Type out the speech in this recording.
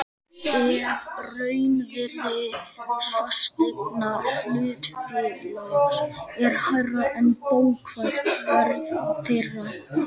ef raunvirði fasteigna hlutafélags er hærra er bókfært verð þeirra.